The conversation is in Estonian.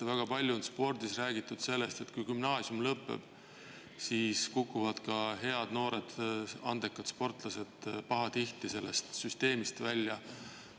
Väga palju on räägitud sellest, et kui gümnaasium lõpeb, siis kukuvad noored andekad sportlased pahatihti spordisüsteemist välja.